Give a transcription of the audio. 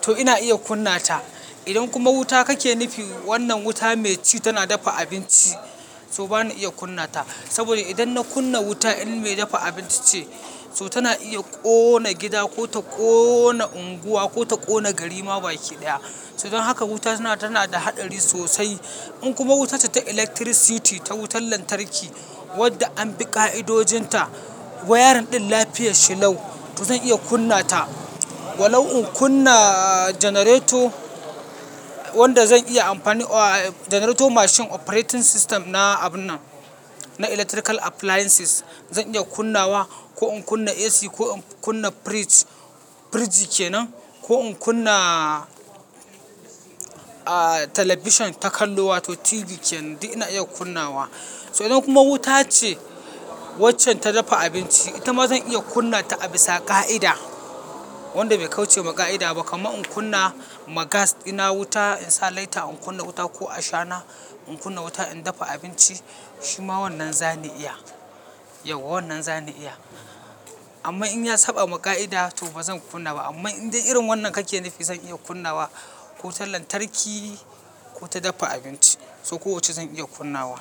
to ina iya kunna ta. Idan kuma wuta kake nufi, wannan wuta mai ci tana dafa abinci, to ba na iya kunna ta. Saboda idan na kunna wuta in mai dafa abinci ce, so tana iya ƙona gida ko ta ƙona unguwa ko ta ƙona garima baki ɗaya. So don haka wuta tana, tana da haɗari sosai. In kuma wuta ce ta electricity, ta wutar lantarki wadda an bi ƙa'idojinta, wayarin ɗin lafiya shi lau to zan iya kunna ta. Wa lau in kunna generator wanda zan iya amfani, aa generator mashin operating system na abun nan, na electrical appliances zan iya kunnawa. Ko in kunna AC ko in kunna fridge, fridge kenan ko in kunna, aa television ta kallo wato TV kenan, duk ina iya kunnawa. So idan kuma wuta ce waccan ta dafa abinci, ita ma zan iya kunna ta a bisa ƙa'ida wanda bai kauce wa ƙa'ida ba. Kama in kunna ma gas ina wuta in sa lighter in kunna wuta ko ashana in kunna wuta in dafa abinci shima wannan zan iya. Yauwa wannan zan iya. Amma in ya saɓa ma ƙa'ida to ba zan kunna ba. Amma in dai irin wannan kake nufi zan iya kunnawa. Ko ta lantarki ko ta dafa abinci, so kowacce zan iya kunnawa.